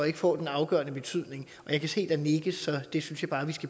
ikke får en afgørende betydning jeg kan se der nikkes så det synes jeg bare vi skal